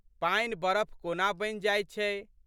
पानि बरफ कोना बनि जाइत छै।